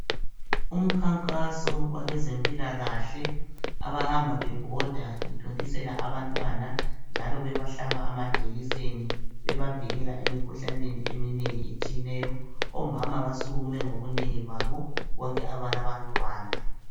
Umkhankaso wabezempilakahle abahamba bebhoda bethontisela abantwana njalo bebahlaba amajekiseni emkhuhlaneni etshiyeneyo omama basukume ngobunengi babo bonke abalabantwana.